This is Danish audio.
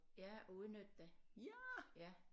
Ja at udnytte det ja